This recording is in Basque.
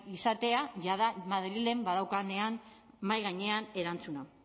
izatea jada madrilen badaukanean mahai gainean erantzuna